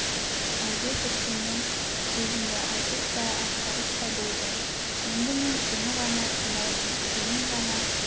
әлде тіпті мен сөзімді айтып та атқарып та болдым енд мен сені ғана тыңдаймын сенің ғана